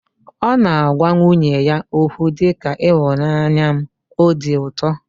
Ọ na-agwa nwunye ya okwu dị ka 'ịhụnanya m', o di ụtọ